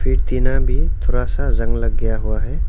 एक टीना भी थोड़ा जंग लग गया हुआ है।